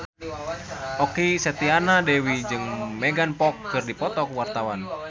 Okky Setiana Dewi jeung Megan Fox keur dipoto ku wartawan